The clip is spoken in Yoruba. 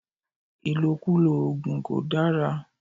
Ìlòkulò òògùn kò dára.